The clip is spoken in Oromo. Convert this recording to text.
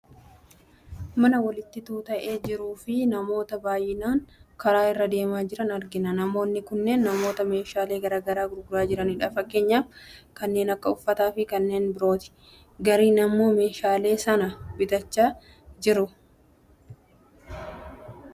Mana walitti tuuta'ee jiruufi namoota baayyinaan karaa irra deemaa jiran argina . namoonni kunneen namoota meeshaaleee gara garaa gurguraa jiranidha. Fakkeenyaaf kanneen akka uffata fi kanneen birooti. gariin ammoo meeshalee sana bitachaa jiru.